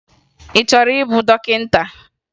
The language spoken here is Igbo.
Ị chọrọ ịbụ dọkịta?